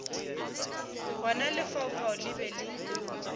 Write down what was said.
gona lefaufau le be le